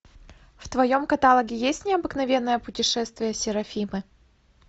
в твоем каталоге есть необыкновенное путешествие серафимы